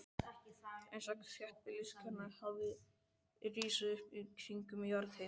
Einstaka þéttbýliskjarnar hafa risið upp kringum jarðhitasvæði.